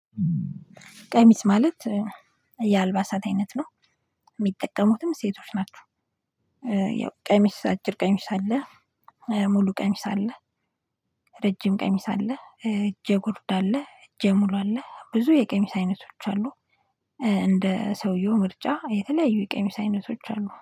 ቀሚስ ማለት የአልባሳት አይነት ነው የሚጠቀሙትም ሴቶች ናቸው። ያው ቀሚስ አጭር ቀሚስ አለ። ሙሉ ቀሚስ አለ። ረጅም ቀሚስ አለ እጀ ጉርድ አለ እጀ ሙሉ አለ ብዙ የቀሚስ አይነቶች አሉ። እንደ ሰውየው ምርጫ የተለያዩ የቀሚስ አይነቶች አሉ